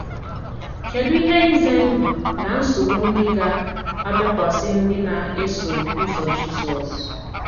Kedụ ihe ize ndụ na nsogbu ndị ga - abịakwasị ndị na - eso ụzọ Jizọs?